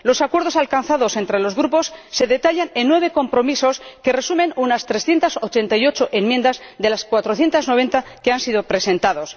Los acuerdos alcanzados entre los grupos se detallan en nueve compromisos que resumen unas 388 enmiendas de las 490 que se han presentado.